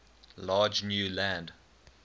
large new land